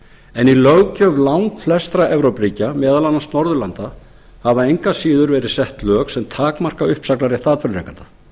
en í löggjöf langflestra evrópuríkja meðal annars norðurlanda hafa engu að síður verið sett lög sem takmarka uppsagnarrétt atvinnurekanda þau